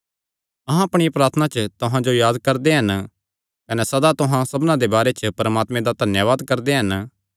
अहां अपणिया प्रार्थना च तुहां जो याद करदे कने सदा तुहां सबना दे बारे च परमात्मे दा धन्यावाद करदे हन